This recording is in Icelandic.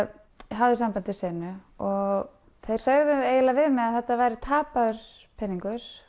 hafði samband við senu og þeir sögðu eiginlega við mig að þetta væri tapaður peningur